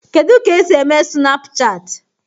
Kedụ ka-esi eme Sunapụchaatị?